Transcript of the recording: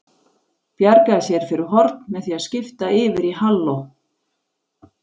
Bjargaði sér fyrir horn með því að skipta yfir í halló.